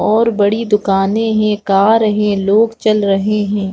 और बड़ी दुकानें हैं कार हैं लोग चल रहे हैं।